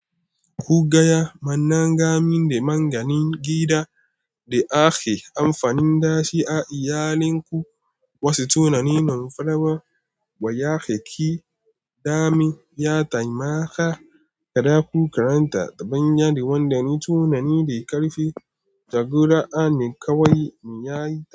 Ku gaya mana gamin da maganin gida da ake amfani da shi a iyalinku. Wasu tunanin farawa ba ya keke dami, ya taimaka kada ku karanta taɓanya da wanda ne tunani da ƙarfi da gura ne kawai mu yayi.